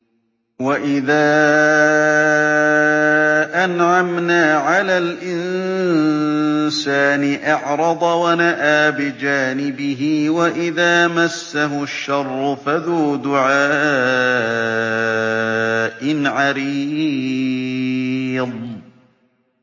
وَإِذَا أَنْعَمْنَا عَلَى الْإِنسَانِ أَعْرَضَ وَنَأَىٰ بِجَانِبِهِ وَإِذَا مَسَّهُ الشَّرُّ فَذُو دُعَاءٍ عَرِيضٍ